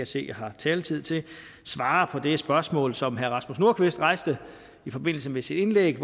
se jeg har taletid til svare på det spørgsmål som herre rasmus nordqvist rejste i forbindelse med sit indlæg